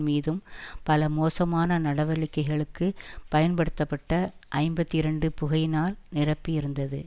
மீதும் பல மோசமான நடவடிக்கைகளுக்கு பயன்படுத்தப்பட்ட ஐம்பத்தி இரண்டு புகையினால் நிரம்பியிருந்தது